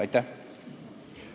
Aitäh!